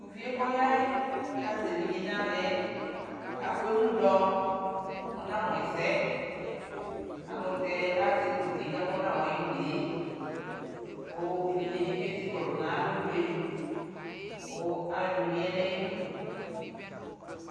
Tʋ uvie kɔya yɛ kazɛ evidza nʋ aɣla hɛ afu emu Ɔnamʋ ɛsɛ ayʋɛlʋtɛ azɛ kpoti kayʋ kɔnawai unee kʋ evidze dι nι bι ezikɔlʋ nʋ ayʋ alonue kʋ alʋɔdini ya nʋ ayʋ udu